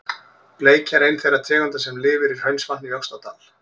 Bleikja er ein þeirra tegunda sem lifir í Hraunsvatni í Öxnadal.